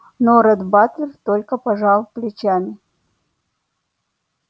но ретт батлер только пожал плечами